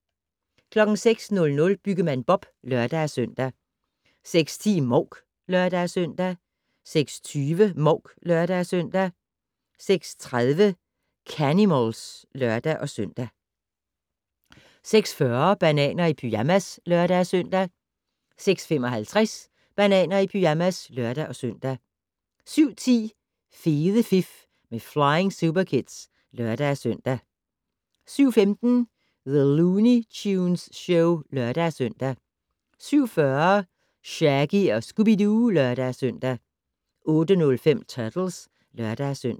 06:00: Byggemand Bob (lør-søn) 06:10: Mouk (lør-søn) 06:20: Mouk (lør-søn) 06:30: Canimals (lør-søn) 06:40: Bananer i pyjamas (lør-søn) 06:55: Bananer i pyjamas (lør-søn) 07:10: Fede fif med Flying Superkids (lør-søn) 07:15: The Looney Tunes Show (lør-søn) 07:40: Shaggy & Scooby-Doo (lør-søn) 08:05: Turtles (lør-søn)